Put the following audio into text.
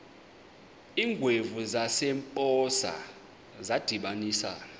iingwevu zasempoza zadibanisana